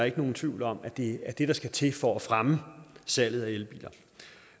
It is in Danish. ikke nogen tvivl om at det er det der skal til for at fremme salget af elbiler